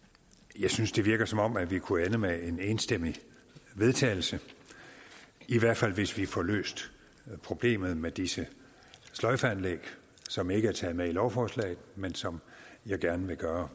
jeg synes det virker som om vi kunne ende med en enstemmig vedtagelse i hvert fald hvis vi får løst problemet med disse sløjfeanlæg som ikke er taget med i lovforslaget men som jeg gerne vil gøre